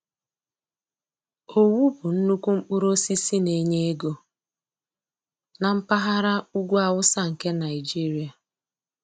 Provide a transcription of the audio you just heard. Owu bụ nnukwu mkpụrụ osisi na-enye ego na mpaghara ugwu awụsa nke Naịjiria